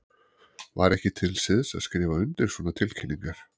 Var ekki til siðs að skrifa undir svona tilkynningar?